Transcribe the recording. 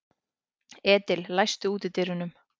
Edil, læstu útidyrunum.